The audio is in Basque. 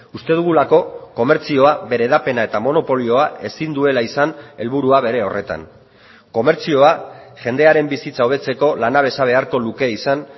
uste dugulako komertzioa bere hedapena eta monopolioa ezin duela izan helburua bere horretan komertzioa jendearen bizitza hobetzeko lanabesa beharko luke izan